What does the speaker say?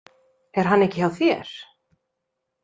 Er hann ekki hjá þér?